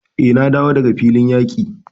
Eh, na dawo daga filin yaqi.